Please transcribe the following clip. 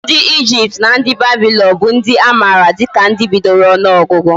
Ndi Egypt na ndi Babylon bu ndi amara dika ndi bidoro onuogugu